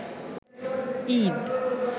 Eid